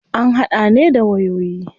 An hada ne da wayoyi.